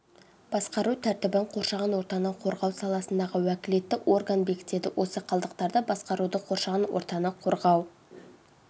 басқару тәртібін қоршаған ортаны қорғау саласындағы уәкілетті орган бекітеді осы қалдықтарды басқаруды қоршаған ортаны қорғау